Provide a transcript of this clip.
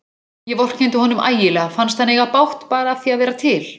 Ég vorkenndi honum ægilega, fannst hann eiga bágt bara af því að vera til.